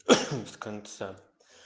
с конца